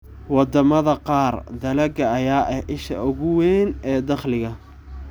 Wadamada qaar, dalagga ayaa ah isha ugu weyn ee dakhliga.